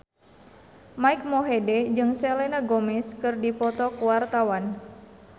Mike Mohede jeung Selena Gomez keur dipoto ku wartawan